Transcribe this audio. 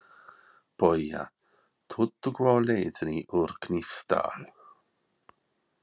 BAUJA: Tuttugu á leiðinni úr Hnífsdal.